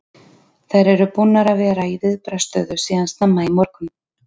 Þær eru búnar að vera í viðbragðsstöðu síðan snemma í morgun.